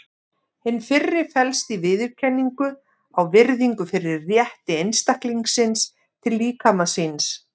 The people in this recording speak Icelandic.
Hin fyrri felst í viðurkenningu á og virðingu fyrir rétti einstaklingsins til líkama síns.